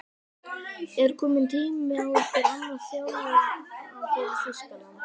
Er kominn tími á einhvern annan þjálfara fyrir Þýskaland?